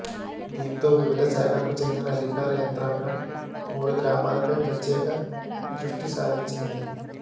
దీంతో వివిధ శాఖలకు చెందిన అధికార యంత్రాంగం మూడు గ్రామాలపై ప్రత్యేక దృష్టిసారించింది